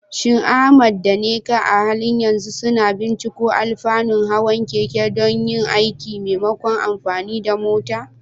Shin Ahmad da Nneka a halin yanzu suna binciko alfanun hawan keke don yin aiki maimakon amfani da mota?